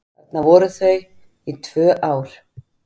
Þar voru þau í tvö ár.